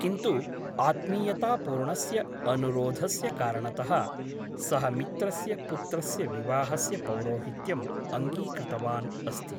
किन्तु आत्मीयतापूर्णस्य अनुरोधस्य कारणतः सः मित्रस्य पुत्रस्य विवाहस्य पौरोहित्यम् अङ्गीकृतवान् अस्ति ।